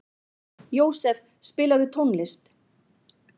Jósef, spilaðu tónlist.